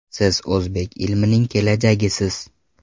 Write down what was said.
Siz o‘zbek ilmining kelajagisiz”.